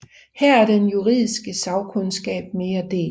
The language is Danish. Her er den juridiske sagkundskab mere delt